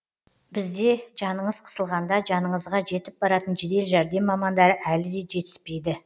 бізде жаныңыз қысылғанда жаныңызға жетіп баратын жедел жәрдем мамандары әлі де жетіспейді